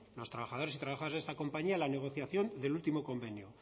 los trabajadores y trabajadoras de esta compañía en la negociación del último convenio